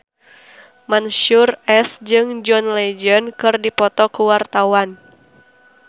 Mansyur S jeung John Legend keur dipoto ku wartawan